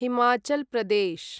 Himachal Pradesh